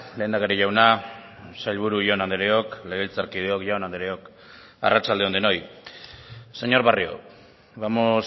lehendakari jauna sailburu jaun andreok legebiltzarkideok jaun andreok arratsalde on denoi señor barrio vamos